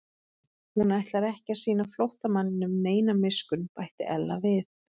Hún ætlar ekki að sýna flóttamanninum neina miskunn bætti Ella við.